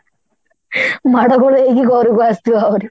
ମାଡ ଗୋଳ ହେଇକି ଘରକୁ ଆସୁଥିବା ଆହୁରି